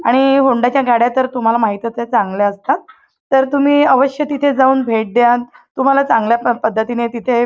आणि होंडाच्या गाड्या तुम्हाला तर माहीतच आहेत चांगल्या असतात तर तुम्ही आवश्य तिथे जाऊन भेट द्या तुम्हाला चांगल्या पद्धतीने तिथे--